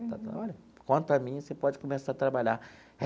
Quanto a mim, você pode começar a trabalhar.